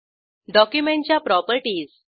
डॉक्युमेंटच्या प्रॉपर्टीज